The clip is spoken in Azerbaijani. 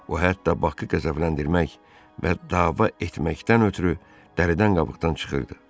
O hətta Bakı qəzəbləndirmək və dava etməkdən ötrü dəridən qabıqdan çıxırdı.